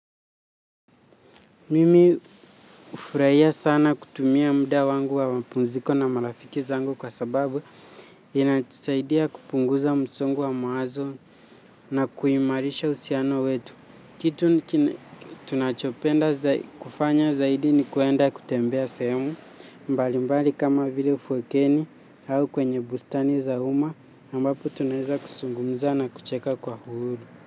Mimi hufurahia sana kutumia muda wangu wa mapumziko na marafiki zangu kwa sababu inatusaidia kupunguza msongo wa mawazo na kuimarisha uhusiano wetu kitu tunachopenda kufanya zaidi ni kwenda kutembea sehemu mbalimbali kama vile ufukweni au kwenye bustani za umma ambapo tunaweza kuzungumza na kucheka kwa huru.